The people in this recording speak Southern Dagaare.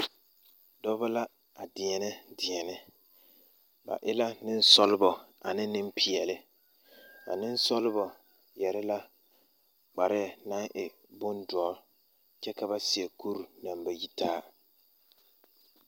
Dɔba la a deɛnɛ deɛne ba e la nensɔglɔ ane nempeɛle a nensɔglɔ yɛre la kpare naŋ e bondoɔ kyɛ ka ba seɛ kuri naŋ ba yitaa.